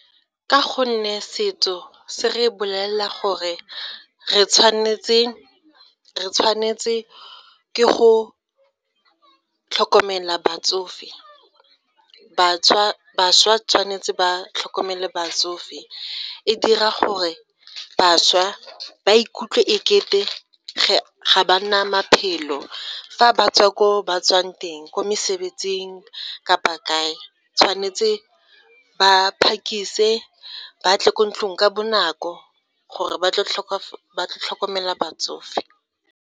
Ka go nne setso se re bolelela gore re tshwanetse, re tshwanetse ke go tlhokomela batsofe. Bašwa tshwanetse ba tlhokomele batsofe, e dira gore bašwa ba ikutlwe e kete ga ba na maphelo fa ba tswa ko ba tswang teng, ko mosebetsing kapa kae tshwanetse ba phakise ba tle ko ntlong ka bonako gore ba tle tlhokomela batsofe.